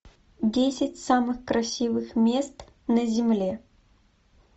десять самых красивых мест на земле